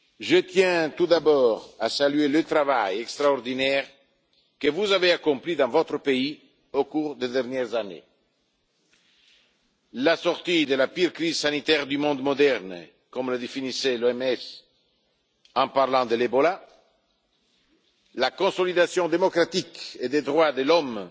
Je tiens tout d'abord à saluer le travail extraordinaire que vous avez accompli dans votre pays au cours des dernières années la sortie de la pire crise sanitaire du monde moderne, comme le définissait l'OMS en parlant d'Ebola, la consolidation démocratique et les droits de l'homme,